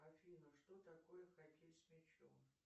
афина что такое хоккей с мячом